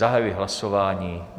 Zahajuji hlasování.